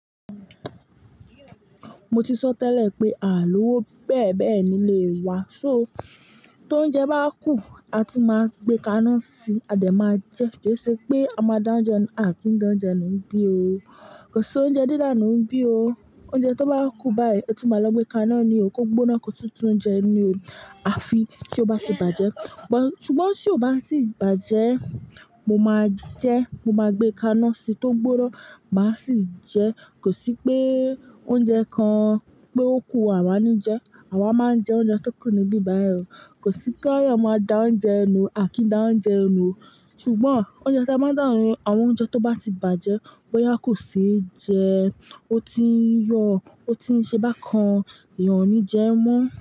Mo ti sọ tẹ́lẹ̀ pé à lọ́wo bẹ́ẹ̀ bẹ́ẹ̀ ni lè wá. So tóúnjẹ bá kú a tún máa gbé kaná sí, a dẹ máa jẹ. Kì í ṣe pé a máa dá oúnjẹ yen nu à kí n dá oúnjẹ nu ni bí o. Kò sí oúnjẹ dídá nù ń bí o. Oúnjẹ tó bá kú báyìí, o tún máa lọ gbé kaná ní o ko gbóná ko tun túnjẹ ni ò. Àfi tí ó bá ti bàjẹ́. But ṣùgbọ́n tí ó bá ti bàjẹ́, mo máa jẹ, mo máa gbé kaná sí tó gbóná, màá sì jẹ. Kò sí pé oúnjẹ kan pé ó kú a wá ní jẹ. Àwa máa ń jẹ oúnjẹ tó kú níbí báyìí o. Kò sí káyọ̀ máa dá oúnjẹ nu o, à kí n dá oúnjẹ nu o. Ṣùgbọ́n oúnjẹ ta bá dá nu ni, àwọn oúnjẹ tó bá ti bàjẹ́ bóyá kò ṣe é jẹ, ó ti ń yọ, ó ti ń ṣe bákan, eeyàn o ní jẹ mọ.